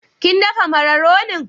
Kin dafa mararonin?